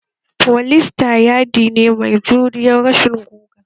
Foliester yaɗi ne mai juriyan rashin guga